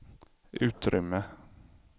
utrymme